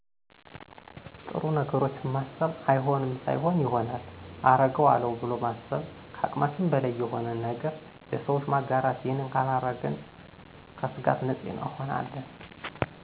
ጥሩ ነገሮችን ማሰብ አይሆንም ሳይሆን ይሆናል አረገው አለው ብሎማሰብ ከአቅማችን በላይ የሆነን ነገረ ለሰወች ማጋራት ይህንን ካረግን ከስጋት ነፂ እንሆን አለን